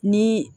Ni